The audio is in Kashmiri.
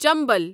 چنبل